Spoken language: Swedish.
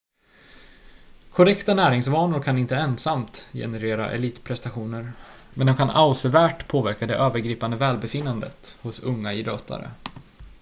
korrekta näringsvanor kan inte ensamt generera elitprestationer men de kan avsevärt påverka det övergripande välbefinnandet hos unga idrottare